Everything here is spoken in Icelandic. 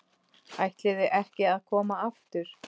ÆTLIÐI EKKI AÐ KOMA AFTUR.